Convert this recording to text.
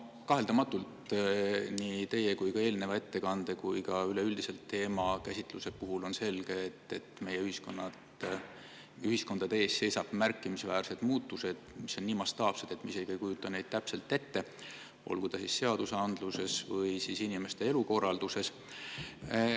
No kaheldamatult on nii teie kui ka eelmise ettekande kui ka üleüldise teemakäsitluse põhjal selge, et meie ühiskonnas seisavad ees märkimisväärsed muutused, mis on nii mastaapsed, et me isegi ei kujuta neid täpselt ette, olgu need seadusandluses või inimeste elukorralduses.